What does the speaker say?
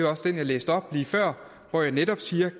også den jeg læste op lige før hvor jeg netop